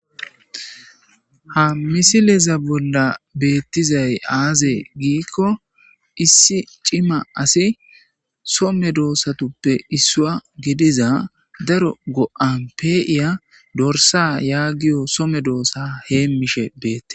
Ha misileza bolla beettizay aaze giikko issi cima asi somme doossatuppe issua gidiza daro go'an pe'iya dorsa yaagiyo some doossa heemmishe beette.